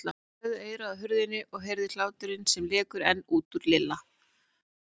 Leggur eyrað að hurðinni og heyrir hláturinn sem lekur enn út úr Lilla.